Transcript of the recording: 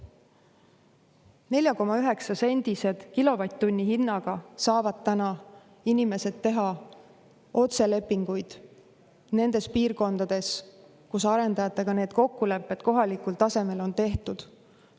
4,9-sendise kilovatt-tunni hinnaga saavad täna inimesed teha otselepinguid nendes piirkondades, kus arendajatega need kokkulepped kohalikul tasemel on tehtud.